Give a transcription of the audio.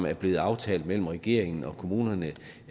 er blevet aftalt mellem regeringen og kommunerne